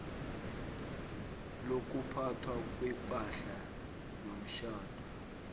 lokuphathwa kwepahla yomtjhado